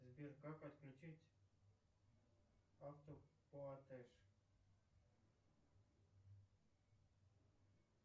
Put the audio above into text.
сбер как отключить автоплатеж